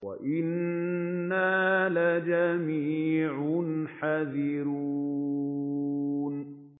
وَإِنَّا لَجَمِيعٌ حَاذِرُونَ